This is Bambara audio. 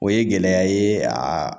O ye gɛlɛya ye aa